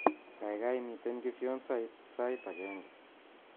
Kaikai miten kifyonsit sait agenge